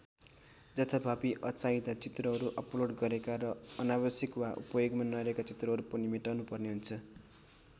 जथाभावी अचाहिँदा चित्रहरू अपलोड गरेका र अनावश्यक वा उपयोगमा नरहेका चित्रहरू पनि मेटाउनुपर्ने हुन्छ।